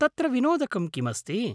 तत्र विनोदकं किमस्ति?